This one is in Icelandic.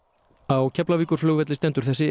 á Keflavíkurflugvelli stendur þessi